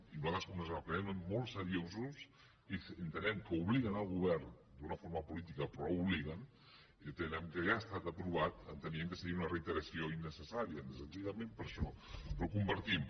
i nosaltres com que ens els prenem molt seriosos i entenem que obliguen el govern d’una forma política però l’obliguen i entenem que ja ha estat aprovat enteníem que seria una reiteració innecessària senzillament per això però ho compartim